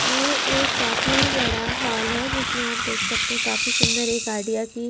ये एक काफी बड़ा हॉल है जिसमें आप देख सकते हैं काफी सुंदर एक आईडिया की--